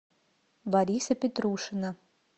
бориса петрушина